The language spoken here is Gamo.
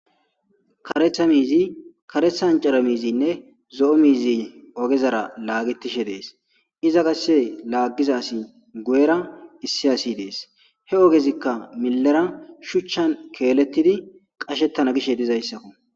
Kareeththa miziy kareeththa ancara miizinne zo'o miizi ogezara laagetishe dees iza qasse laaggiza asi guyera issi asi dees he ogezikka millera shuchchan keelettidi qashettana giishshe dizayssakko